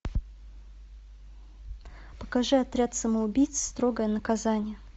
покажи отряд самоубийц строгое наказание